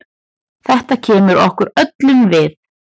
Þetta kemur okkur öllum við.